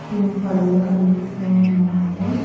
పడవలు కనిపిస్తూ ఉన్నాయండి.